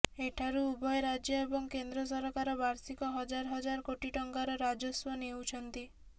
ଏଠାରୁ ଉଭୟ ରାଜ୍ୟ ଏବଂ କେନ୍ଦ୍ର ସରକାର ବାର୍ଷିକ ହଜାର ହଜାର କୋଟି ଟଙ୍କାର ରାଜସ୍ୱ ନେଉଛନ୍ତି